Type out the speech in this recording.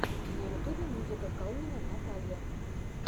на ютубе музыка калнина наталья